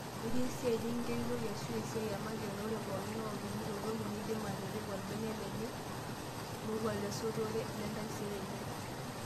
Itii esiai nikigeritoi arashu esiai emakeon oree pookingay otumito toki neeidim atipika olbene lenye moruao lesotore lentaisere enye.